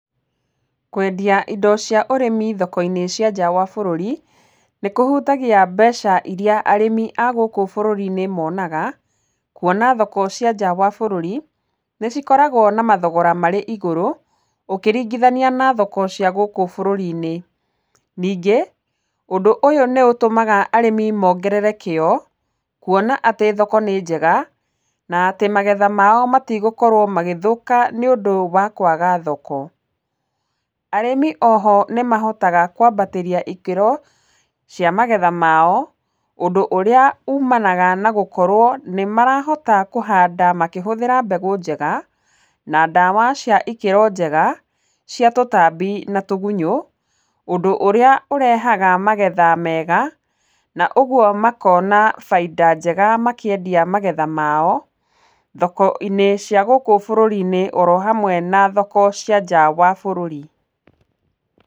Kwendia indo cia ũrĩmi thoko-inĩ cia njaa wa bũrũri nĩ kũhutagia mbeca iria arĩmi a gũkũ bũrũri-inĩ monaga, kuona thoko cia njaa wa bũrũri nĩ cikoragwo na mathogora marĩ igũrũ ũkĩringithania na thoko cia gũkũ bũrũri-inĩ. Ningĩ, ũndũ ũyũ nĩũtũmaga arĩmi mongerere kĩyo kuona atĩ thoko nĩ njega na atĩ magetha mao matigũkorwo magĩthũka nĩũndũ wa kwaga thoko. Arĩmi oho nĩmahotaga kwambatĩria ikĩro cia magetha mao, ũndũ ũrĩa ũmanaga na gũkorwo nĩ marahota kũhanda makĩhũthĩra mbegũ njega, na ndawa cia ikĩro njega cia tũtambi na tũgunyũ, ũndũ ũrĩa ũrehega magetha mega na ũguo makona baida njega makĩendia magetha mao thoko-inĩ cia gũkũ bũrũri-inĩ oro hamwe na thoko cia njaa wa bũrũri.